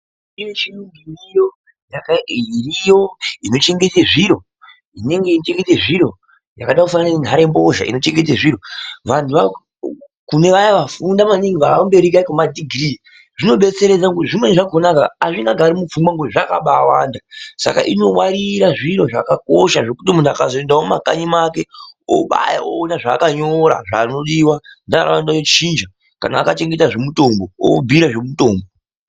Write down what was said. Kunemishini iriyo inochengete zviro yakada kufanana nenharembozha inochengete zviro, vantu kunevaya vafunda maningi vava kumberi kwedhigirii zvinobetseredza ngekuti zvimweni zvakona hazvingagari mupfungwa ngekuti zvakabaiwanda, saka inowarira zvinhu zvakakosha zvekuti muntu akazoendawo mumakanyi make unobaya oona zvaakanyora neanoda kuchinja, kana akachengeta zvemutombo obvira zvemutombo.